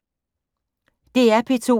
DR P2